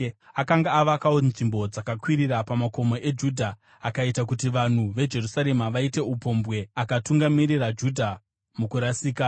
Akanga avakawo nzvimbo dzakakwirira pamakomo eJudha akaita kuti vanhu veJerusarema vaite upombwe akatungamirira Judha mukurasika.